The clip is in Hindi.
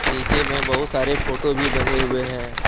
नीचे में बहुत सारे फोटो भी बने हुए हैं।